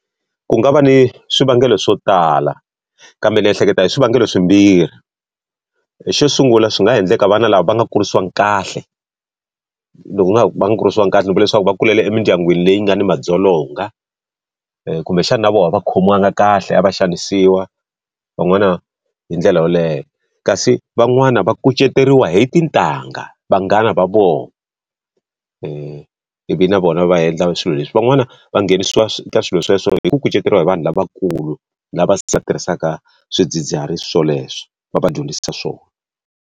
ku nga va ni swivangelo swo tala, kambe ni ehleketa hi swivangelo swimbirhi. Xo sungula swi nga ha endleka vana lava va nga kurisiwa kahle. va nga kurisiwa kahle loko leswaku va kulele emindyangwini leyi nga ni madzolonga, kumbexana na vona a va khomiwanga kahle, a va xanisiwa van'wana hi ndlela yoleyo. Kasi van'wani va kuceteriwa hi tintangha, vanghana va vona ivi na vona va endla swilo leswi. Van'wana va nghenisiwa eka swilo sweswo hi ku kuceteriwa hi vanhu lavakulu, lava tirhisaka swidzidziharisi swoleswo va va dyondzisa swona.